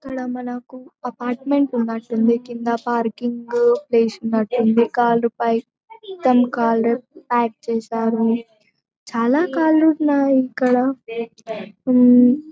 ఇక్కడ మనకు అపార్ట్మెంట్ ఉన్నట్టుంది కింద పార్కింగ్ చేసినట్టుంది కార్లు పై చేసారు చాలా కార్లు న్నాయి ఇక్కడ.